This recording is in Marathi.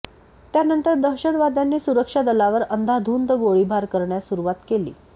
त्यानंतर दहशतवाद्यांनी सुरक्षा दलावर अंदाधुंद गोळीबार करण्यास सुरुवात केली